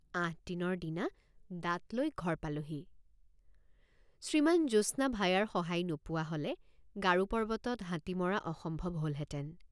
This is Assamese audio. আঠদিনৰ দিনা দাঁতলৈ ঘৰ পালোঁহি। আঠদিনৰ দিনা দাঁতলৈ ঘৰ পালোঁহি। শ্ৰীমান জ্যোৎস্না ভায়াৰ সহায় নোপোৱ৷ হলে গাৰো পৰ্বতত হাতী মৰা অসম্ভৱ হলহেঁতেন।